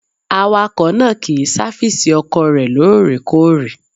Awakọ̀ náà kì í sáfísì ọkọ̀ rẹ̀ lóòrèkóòrè.